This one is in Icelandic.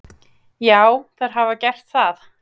Já, þær hafa gert það.